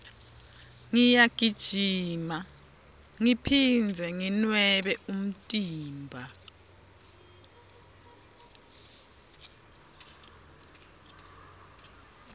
ngiyagijima ngiphindze nginwebe umtimba